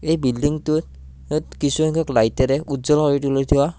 এই বিল্ডিংটোত য'ত কিছুসংখ্যক লাইটেৰে উজ্বল ভাৱে তুলি থোৱা--